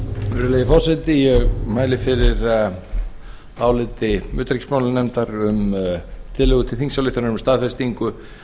virðulegi forseti ég mæli fyrir áliti utanríkismálanefndar um tillögu til þingsályktunar um staðfestingu